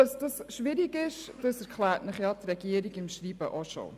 Dass dies schwierig ist, erklärt Ihnen die Regierung in ihrem Schreiben auch schon bereits.